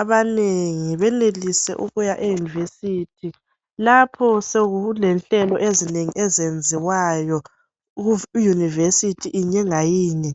abanengi benelise ukuya e"University " lapho sokulenhlelo ezinengi ezenziwayo ku" University " yinye layinye.